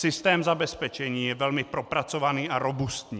Systém zabezpečení je velmi propracovaný a robustní.